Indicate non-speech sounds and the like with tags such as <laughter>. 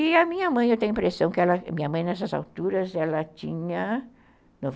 E a minha mãe, eu tenho a impressão que ela, minha mãe nessas alturas, ela tinha <unintelligible>